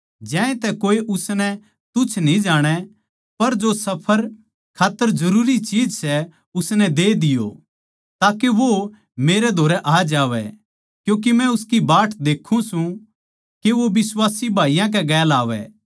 ज्यांतै कोए उसनै तुच्छ न्ही जाणै पर जो सफर खात्तर जरूरी चीज सै उसनै दे दिओ ताके वो मेरै धोरै आ जावै क्यूँके मै उसकी बाट देक्खूँ सूं के वो बिश्वासी भाईयाँ कै गेल आवै